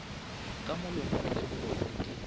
ka molomong le mogolong di